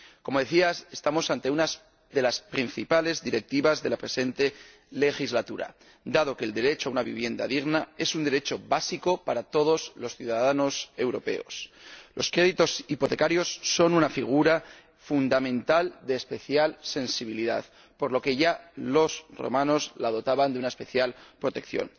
Como se decía, estamos ante una de las principales directivas de la presente legislatura, dado que el derecho a una vivienda digna es un derecho básico para todos los ciudadanos europeos. Los créditos hipotecarios son una figura fundamental de especial sensibilidad, por lo que ya los romanos la dotaban de una especial protección.